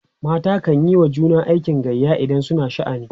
mata kanyi wa juna aikin gayya idan suna da sha'ani